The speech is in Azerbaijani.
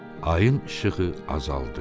Ayın işığı azaldı.